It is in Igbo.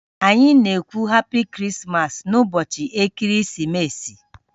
Anyị na-ekwu "happy Christmas" n'ụbọchị Ekeresimesi